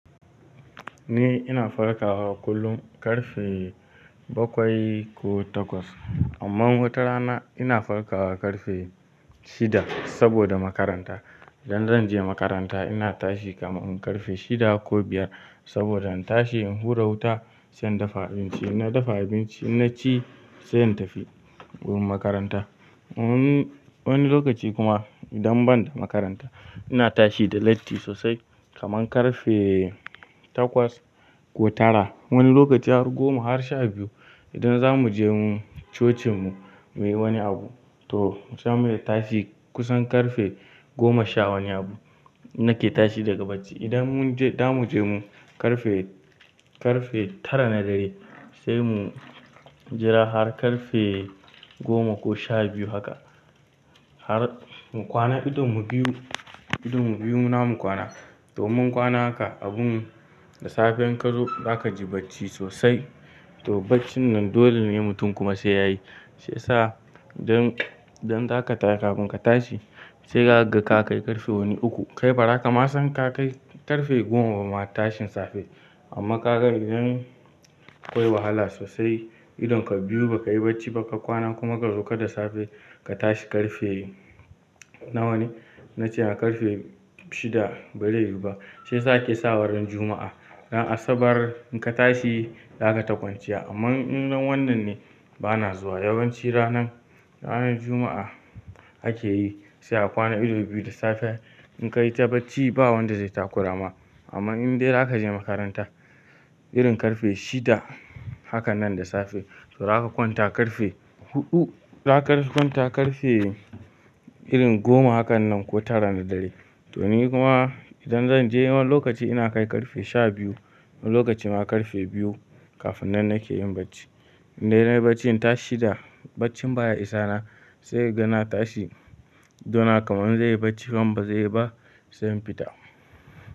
Ni ina farkawa kullum karfe bakwai ko takwas. Amma wata rana ina farkawa karfe shida saboda makaranta. Idan zan je makaranta ina tashi kamar in karfe shida ko biyar saboda in tashi in hura wuta, sai in dafa abinci. Inna dafa abinci, inna ci sai in tafi wurin makaranta. Wani lokaci kuma idan ban da makaranta ina tashi da latti sosai kamar karfe takwas ko tara. Wani lokaci har goma har sha biyu. Idan za mu je cocinmu muyi wani abu to saimu tashi kusan karfe goma sha wani abu nake tashi daga bacci. Idan mun je, da mu je mu karfe, karfe tara na dare sai mu jira har karfe goma ko sha biyu haka har mu kwana idon mu biyu, idon mu biyu namu kwana. To immun kwana haka abun da safiyar in kazo zaka ji bacci sosai. To baccin nan dole ne mutum kuma sai yayi. Sai sa don, don zaka tashi kafin ka tashi sai ka ga ka kai karfe wani uku. Kai bara kama san ka kai karfe goma ba ma tashin safe. Amma ka ga idan akwai wahala sosai idan ka biyu baka yi bacci ba ka kwana kuma ka zoka ka tashi karfe nawa ne? Na ce a karfe shida bai rayu ba. Sai sa ake sawara ran juma'a. Ran Asabar in ka tashi zaka ta kwanciya. Amma indan wannan ne bana zuwa yawanci ranan, ranan Juma'a ake yi sai a kwana ido biyu da safe in ka yi ta bacci ba wanda zai takura ma. Amma in dai zaka je makaranta irin karfe shida hakan nan da safe to zaka kwanta karfe huɗu. Zaka kwanta karfe irin goma hakan nan ko tara na dare. To ni kuma idan zan je wani lokaci ina kai karfe sha biyu. Wani lokaci ma karfe biyu kafin nan nake yin bacci. Indai nayi bacci in tashi shida, baccin baya isa na sai ka gana tashi, idona kamar zai yi bacci kam bazai yi ba sai in fita.